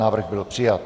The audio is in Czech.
Návrh byl přijat.